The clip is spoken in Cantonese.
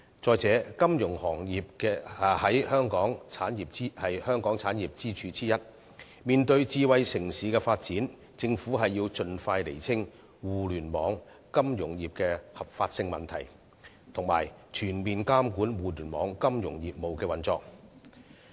再者，金融行業是香港產業的其中一條支柱，面對智慧城市發展，政府要盡快釐清互聯網、金融業的合法性問題，以及全面監管互聯網、金融業務的運作。